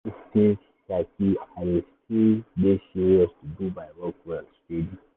even if things shaky i still dey serious to do my work well steady.